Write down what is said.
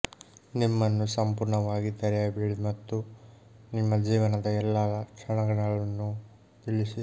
ನಿಮ್ಮನ್ನು ಸಂಪೂರ್ಣವಾಗಿ ತೆರೆಯಬೇಡಿ ಮತ್ತು ನಿಮ್ಮ ಜೀವನದ ಎಲ್ಲಾ ಕ್ಷಣಗಳನ್ನು ತಿಳಿಸಿ